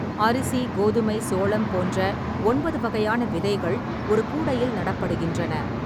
அரிசி, கோதுமை, சோளம் போன்ற ஒன்பது வகையான விதைகள் ஒரு கூடையில் நடப்படுகின்றன.